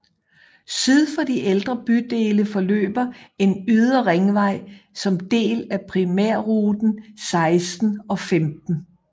Syd om de ældre bydele forløber en ydre ringvej som del af primærruten 16 og 15